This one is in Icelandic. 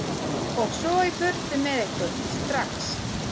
Og svo í burtu með ykkur, STRAX.